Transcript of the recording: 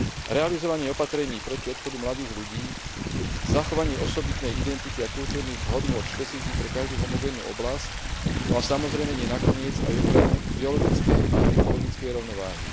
realizovanie opatrení proti odchodu mladých ľudí, zachovanie osobitnej identity a kultúrnych hodnôt špecifických pre každú homogénnu oblasť, no a samozrejme, nie nakoniec, aj ochranu biologickej a ekologickej rovnováhy.